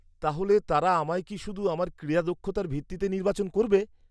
-তাহলে তারা আমায় কি শুধু আমার ক্রীড়া দক্ষতার ভিত্তিতে নির্বাচন করবে?